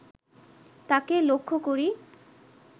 তাঁকে লক্ষ করি